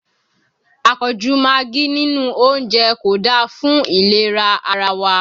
Àpọ̀jù magí nínú oúnjẹ kò da fún ìlera ara wa